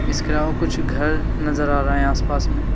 इसके अलावा कुछ घर नजर आ रहा हैं आसपास में।